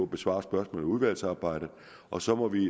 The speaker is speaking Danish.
besvare spørgsmål i udvalgsarbejdet og så må vi